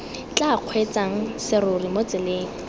tla kgweetsang serori mo tseleng